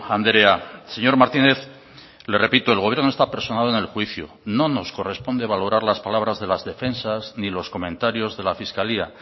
andrea señor martínez le repito el gobierno está personado en el juicio no nos corresponde valorar las palabras de las defensas ni los comentarios de la fiscalía